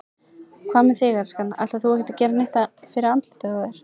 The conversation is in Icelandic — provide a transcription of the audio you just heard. Hvað með þig, elskan. ætlar þú ekki að gera neitt fyrir andlitið á þér?